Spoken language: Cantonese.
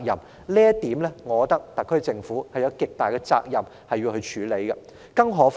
就這一點，我認為特區政府有極大責任要處理。